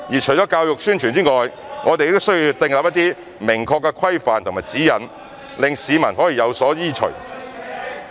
除了教育宣傳外，我們亦需要定出一些明確的規範和指引，讓市民有所依循。